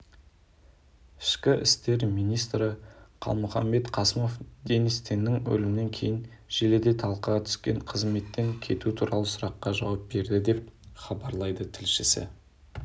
ішкі істер министрі қалмұханбет қасымов денис теннің өлімінен кейін желіде талқыға түскен қызметтен кету туралы сұраққа жауап берді деп хабарлайды тілшісі